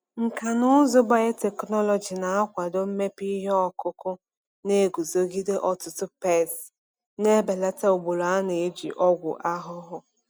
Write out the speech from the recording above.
Nkà na ụzụ biotechnology na-akwado mmepe ihe ọkụkụ na-eguzogide ọtụtụ pesti, na-ebelata ugboro a na-eji ọgwụ ahụhụ.